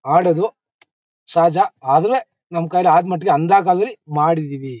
ಆಡೋದು ಸಹಜ ಆದ್ರುವೇ ನಮ್ಮ್ ಕೈಲಿ ಎಡಿಎ ಮಟ್ಟಿಗೆ ಅಂತ ಕಾಲದಲ್ಲಿ ಮಾಡಿದ್ದ್ದೀವಿ.